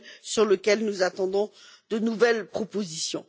sur lesquels nous attendons de nouvelles propositions.